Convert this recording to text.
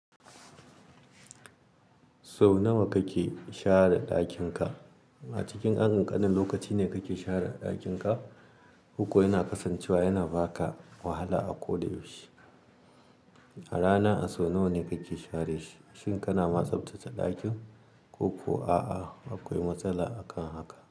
Sau nawa kake share ɗakin ka? A cikin dan kanƙanin lokaci ne kake share ɗakin ka? Koko yana kasancewa yana baka wahala a koda yaushe. A rana a sau nawa kake share shi? Shin kana ma tsaftace ɗakin ko kuwa a'a akwai matsala akan haka?